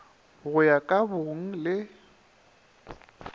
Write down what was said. go ya ka bong le